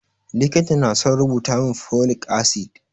Likita na son rubuta min folic acid